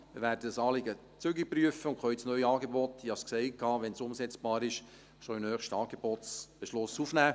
Wir werden das Anliegen zügig prüfen und können das neue Angebot – ich habe es gesagt –, wenn es umsetzbar ist, schon in den nächsten Angebotsbeschluss aufnehmen.